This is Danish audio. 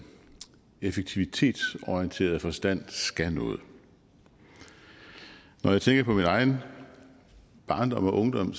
effektivitetsorienteret forstand skal noget når jeg tænker på min egen barndom og ungdom